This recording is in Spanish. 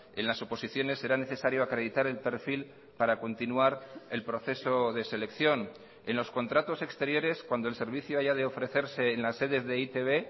en las oposiciones será necesario acreditar el perfil para continuar el proceso de selección en los contratos exteriores cuando el servicio haya de ofrecerse en las sedes de e i te be